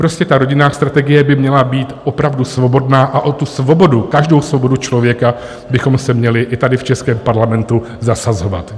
Prostě ta rodinná strategie by měla být opravdu svobodná a o tu svobodu, každou svobodu člověka, bychom se měli i tady v českém Parlamentu zasazovat.